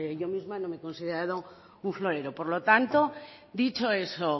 yo misma no me he considerado un florero por lo tanto dicho eso